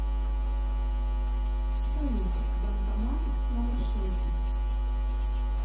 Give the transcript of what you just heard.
салют банкомат на маршруте